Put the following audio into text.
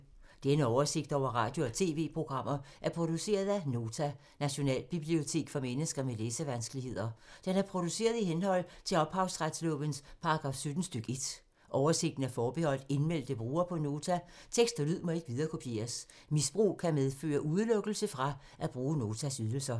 Denne oversigt over radio og TV-programmer er produceret af Nota, Nationalbibliotek for mennesker med læsevanskeligheder. Den er produceret i henhold til ophavsretslovens paragraf 17 stk. 1. Oversigten er forbeholdt indmeldte brugere på Nota. Tekst og lyd må ikke viderekopieres. Misbrug kan medføre udelukkelse fra at bruge Notas ydelser.